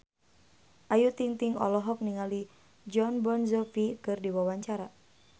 Ayu Ting-ting olohok ningali Jon Bon Jovi keur diwawancara